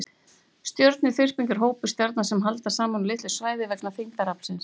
Stjörnuþyrping er hópur stjarna sem haldast saman á litlu svæði vegna þyngdaraflsins.